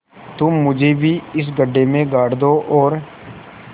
तुम मुझे भी इस गड्ढे में गाड़ दो और